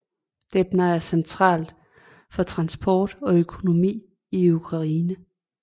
Dnepr er central for transport og økonomi i Ukraine